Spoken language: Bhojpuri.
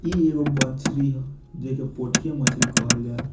इ एगो बन्छरी हअ जेकअ पोठिया मछली कहल जा।